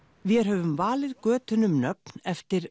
vér höfum valið götunum nöfn eftir